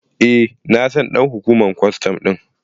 Eh na san ɗan hukumar kwastan ɗin.